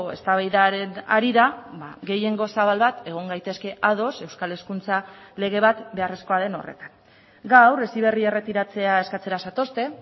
eztabaidaren harira gehiengo zabal bat egon gaitezke ados euskal hezkuntza lege bat beharrezkoa den horretan gaur heziberri erretiratzea eskatzera zatozte